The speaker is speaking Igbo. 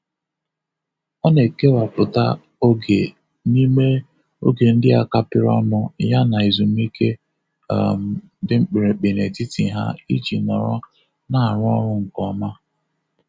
Ọ na-ekewapụta ọrụ n'ime oge ndị a kapịrị ọnụ yana ezumike um dị mkpirikpi n'etiti ha iji nọrọ na-arụ ọrụ nke ọma.